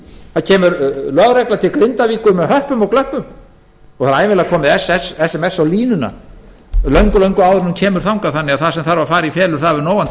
það kemur lögregla til grindavíkur með höppum og glöppum og ævinlega er komið sms á línuna löngu áður en hún kemur þangað það sem þarf að fara í felur hefur nógan